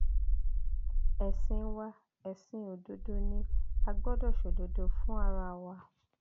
ẹsìn wa ẹsìn òdodo ni a gbọdọ ṣòdodo fún ara wa